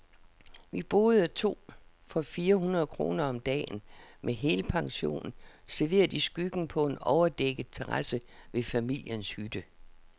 Vi boede to for fire hundrede kroner om dagen, med helpension, serveret i skyggen på en overdækket terrasse ved familiens hytte.